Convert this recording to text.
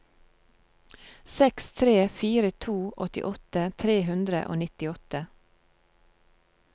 seks tre fire to åttiåtte tre hundre og nittiåtte